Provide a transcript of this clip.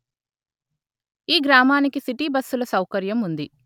ఈ గ్రామానికి సిటీ బస్సుల సౌకర్యం ఉంది